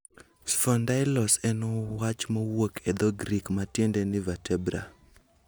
Sphondylos en wach mowuok e dho-Grik matiende ni Vertebra.